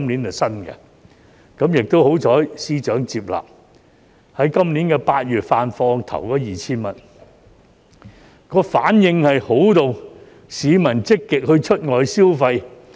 幸好司長採納，於今年8月發放首 2,000 元，反應十分好，市民積極出外消費。